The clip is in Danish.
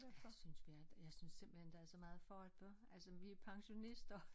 Jeg synes vi er jeg synes simpelthen der er så meget for at bør altså vi pensionister